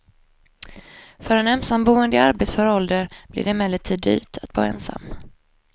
För ensamboende i arbetsför ålder blir det emellertid dyrt att bo ensam.